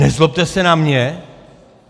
Nezlobte se na mě.